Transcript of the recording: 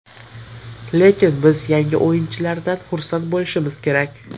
Lekin biz yangi o‘yinchilardan xursand bo‘lishimiz kerak.